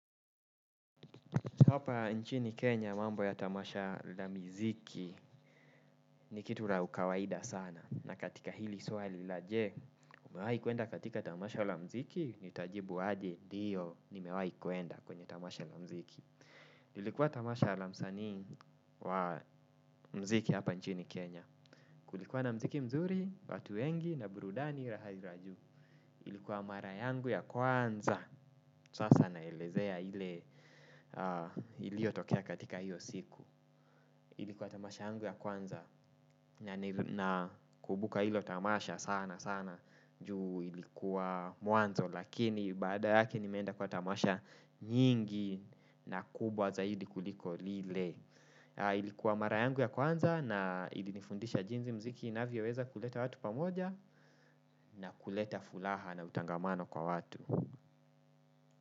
Hapa nchini Kenya mambo ya tamasha la miziki ni kitu la ukawaida sana. Na katika hili swali la je, umewahi kuenda katika tamasha la mziki nitajibu aje ndiyo nimewahi kuenda kwenye tamasha la mziki. Ilikuwa tamasha la mziki hapa nchini Kenya. Kulikuwa na muziki mzuri, watu wengi na burudani raha la juu. Ilikuwa mara yangu ya kwanza. Sasa naelezea ile iliyotokea katika hiyo siku. Ilikuwa tamasha yangu ya kwanza. Nakumbuka hilo tamasha sana sana juu ilikuwa mwanzo lakini baada yake nimeenda kwa tamasha nyingi na kubwa zaidi kuliko lile ilikuwa mara yangu ya kwanza na ilinifundisha jinsi muziki inavyoweza kuleta watu pamoja na kuleta fulaha na utangamano kwa watu.